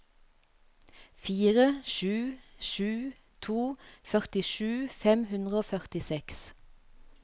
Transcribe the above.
fire sju sju to førtisju fem hundre og førtiseks